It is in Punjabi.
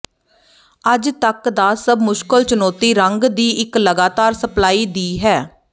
ਅੱਜ ਤੱਕ ਦਾ ਸਭ ਮੁਸ਼ਕਲ ਚੁਣੌਤੀ ਰੰਗ ਦੀ ਇੱਕ ਲਗਾਤਾਰ ਸਪਲਾਈ ਦੀ ਹੈ